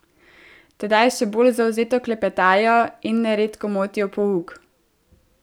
Tedaj še bolj zavzeto klepetajo in neredko motijo pouk.